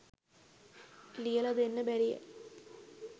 ලියල දෙන්න බැරියැ.